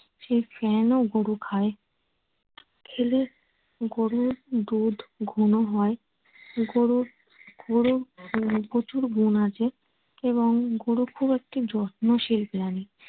সেই ফেনও গরু খায়। খেলে গরুর দুধ ঘন হয়। গরু গরুর উম প্রচুর গুণ আছে এবং গরু খুব একটি যত্নশীল প্রাণী।